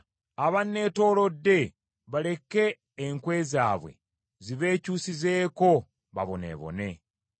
Abanneetoolodde baleke enkwe zaabwe zibeekyusizeeko baboneebone.